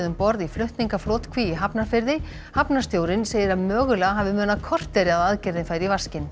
um borð í flutningaflotkví í Hafnarfirði hafnarstjórinn segir að mögulega hafi munað korteri að aðgerðin færi í vaskinn